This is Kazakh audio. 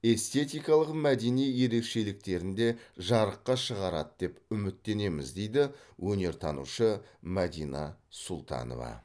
эститкалық мәдени ерекшеліктерін де жарыққа шығарады деп үміттенеміз дейді өнертанушы мәдина сұлтанова